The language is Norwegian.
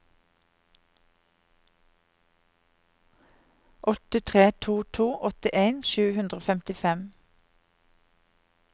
åtte tre to to åttien sju hundre og femtifem